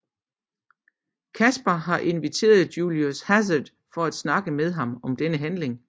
Casper har inviteret Julius Hazard for at snakke med ham om denne handling